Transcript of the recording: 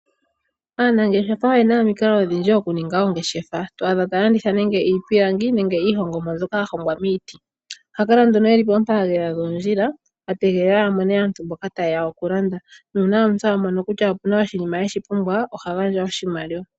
Aanangeshefa oyena omikalo odhindji, okuninga oongeshefa. to adha taya landitha nande iipilingi, nenge iihongomwa mbyoka ya hongwa miiti. Ohaya kala nduno yeli poompaalela dhoondjila, ategelela yamone aantu mboka tayeya okulanda, nuuna omuntu a mono kutya opuna oshina eshi pumbwa, oha gandja oshimaliwa.